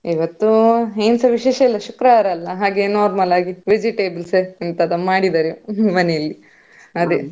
ಇವತ್ತು ಎನ್ಸ ವಿಶೇಷ ಇಲ್ಲ ಇವತ್ತು ಶುಕ್ರವಾರ ಅಲ್ಲಾ ಹಾಗೆ normal ಆಗಿ vegetables ಯಂತದೋ ಮಾಡಿದಾರೆ ಮನೆಯಲ್ಲಿ ಅದೇ.